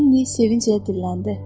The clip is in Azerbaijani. Linni sevinclə dilləndi.